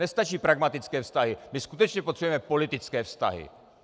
Nestačí pragmatické vztahy, my skutečně potřebujeme politické vztahy.